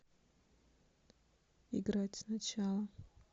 играть сначала